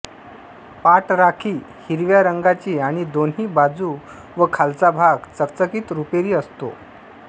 पाठ राखी हिरव्या रंगाची आणि दोन्ही बाजू व खालचा भाग चकचकीत रुपेरी असतो